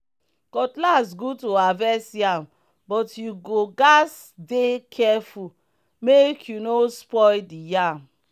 cutlass good to harvest yam but you go gatz dey careful make you no spoil the yam.